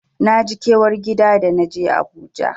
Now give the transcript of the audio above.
Naji kewar gida da naje Abuja.